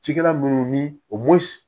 Cikɛla munnu ni